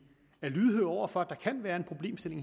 er lydhøre over for at der her kan være en problemstilling